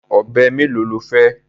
Ọ̀bẹ mélòó lo fẹ́?